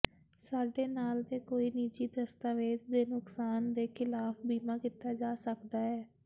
ਸਾਡੇ ਨਾਲ ਦੇ ਕੋਈ ਨਿੱਜੀ ਦਸਤਾਵੇਜ਼ ਦੇ ਨੁਕਸਾਨ ਦੇ ਖਿਲਾਫ ਬੀਮਾ ਕੀਤਾ ਜਾ ਸਕਦਾ ਹੈ